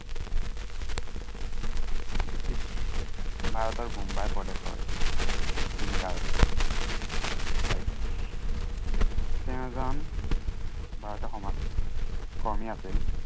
British ভাৰতৰ বুম্বাই প্ৰদেশৰ ঠাইত। তেওঁ এজন ভাৰতীয় সমাজ কৰ্মী আছিল।